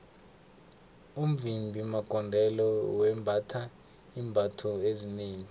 umvimbi magondelo wembatha iimbatho ezinengi